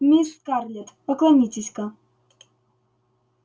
мисс скарлетт поклонитесь-ка